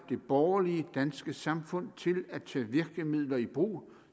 det borgerlige danske samfund til at tage virkemidler i brug